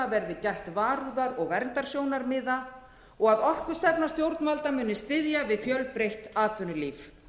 verði gætt varúðar og verndarsjónarmiða og að orkustefna stjórnvalda muni styðja við fjölbreytt atvinnulíf